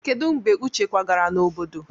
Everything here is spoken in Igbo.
Kedu mgbe uche kwagara n'obodo?